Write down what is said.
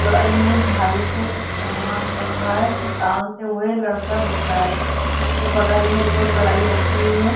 ए में झाड़ी से कुछ सामान बन रहा है इसको टालते हुए लड़का दिख रहा है उसके बगल में कोई कड़ाही रखी हुई है।